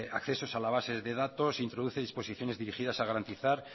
accesos a la bases de datos introduce disposiciones dirigidas a garantizar